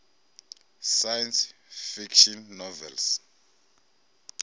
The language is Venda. science fiction novels